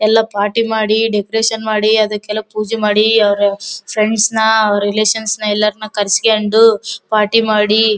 ಎಲ್ಲಾ ಪಾರ್ಟಿ ಮಾಡಿ ಡೆಕೋರೇಷನ್ ಮಾಡಿ ಅದಕೆಲ್ಲಾ ಪೂಜೆ ಮಾಡಿ ಅವ್ರ ಫ್ರೆಂಡ್ಸ್ ನ ಅವ್ರ ರಿಲೇಷನ್ಸ್ ನ ಎಲ್ಲಾರನು ಕರೆಸ್ಕೊಂಡು ಪಾರ್ಟಿ ಮಾಡಿ --